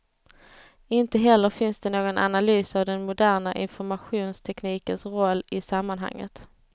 Inte heller finns det någon analys av den moderna informationsteknikens roll i sammanhanget.